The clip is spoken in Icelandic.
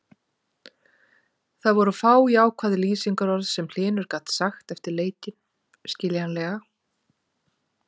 Það voru fá jákvæð lýsingarorð sem Hlynur gat sagt eftir leikinn, skiljanlega.